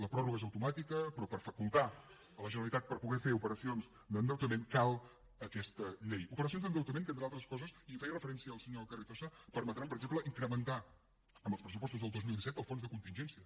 la pròrroga és automàtica però per facultar la generalitat per poder fer operacions d’endeutament cal aquesta llei operacions d’endeutament que entre d’altres coses i hi feia referència el senyor carrizosa permetran per exemple incrementar en els pressupostos del dos mil disset el fons de contingència